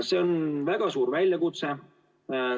See on väga suur väljakutse.